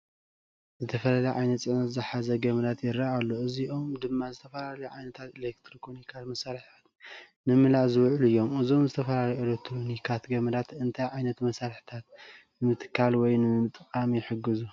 ዝተፈላለየ ዓይነት ጽዕነት ዝተተሓሓዘ ገመዳት ይረአ ኣሎ። እዚኦም ድማ ዝተፈላለዩ ዓይነታት ኤሌክትሮኒካዊ መሳርሒታት ንምምላእ ዝውዕሉ እዮም። እዞም ዝተፈላለዩ ኤሌክትሮኒካዊ ገመዳት እንታይ ዓይነት መሳርሒታት ንምትካል ወይ ንምጥቃም ይሕግዙ?